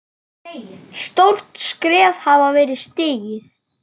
Stórt skref hafði verið stigið.